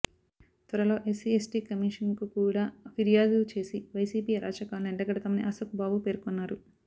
త్వరలో SC ST commission కు కూడా ఫిర్యాదు చేసి వైసిపి అరాచకాలను ఎండగడతామని అశోక్ బాబు పేర్కొన్నారు